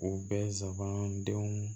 U bɛɛ zaban denw